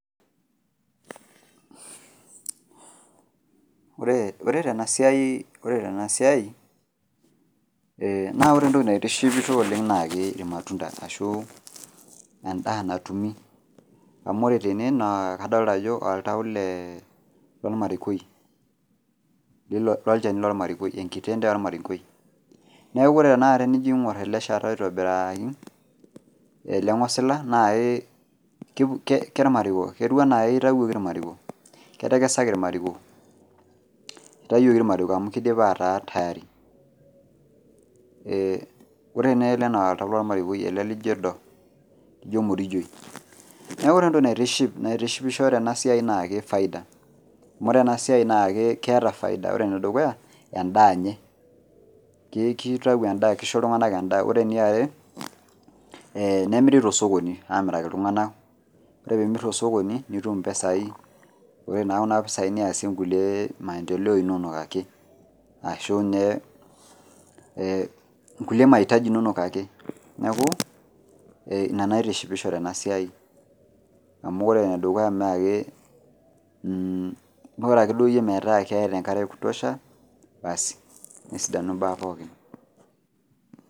Ore tenasiai, ore tenasiai na ore entoki naitishipisho oleng na keji irmatunda arashu endaa natumi. Amu ore tene naa kadolta ajo oltau le lormarikoi, lolchani lormarikoi, enkitende ormarikoi. Neeku ore tanakata tenijo aing'or ele shata aitobiraki, ele ng'osila na kemariko ketiu enaa kitauoki irmariko. Ketekesaki irmariko. Itayioki irmariko amu kidipa ataa tayari. Ore nele na oltau lormarikoi ele lijo edo. Ijo emorijoi. Neku ore entoki naitiship naitishipisho tenasiai nake faida. Amu ore enasiai nake keeta faida. Ore enedukuya, endaa nye. Kitau kisho iltung'anak endaa. Ore eniare, nemiri tosokoni amiraki iltung'anak. Ore pimir tosokoni, nitum impisai. Ore naa kuna pisai niasie nkulie maendeleo inonok ake. Ashu inye kulie mahitaji inonok ake. Neeku, ina naitishipisho tenasiai. Amu ore enedukuya nake, ore ake duo yie metaa keeta enkare ekutosha, basi nesidanu imbaa pookin.